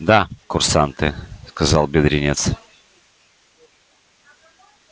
да курсанты сказал бедренец